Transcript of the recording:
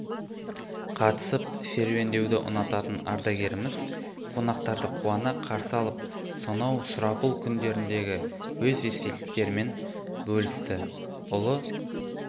қатысып серуендеуді ұнататын ардагеріміз қонақтарды қуана қарсы алып сонау сұрапыл кундеріндегі өз естеліктерімен бөлісті ұлы